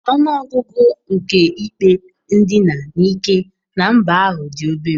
Ọnụ ọgụgụ nke ikpe ndina n'ike na mba ahụ dị obere.